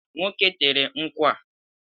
Nwoke tere nkwụ a